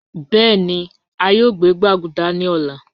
Bẹẹni a yoo gbẹ gbaguda ni ọla